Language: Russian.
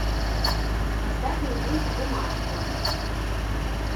поставь мне мульт бумажки